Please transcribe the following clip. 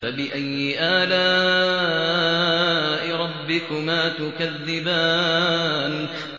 فَبِأَيِّ آلَاءِ رَبِّكُمَا تُكَذِّبَانِ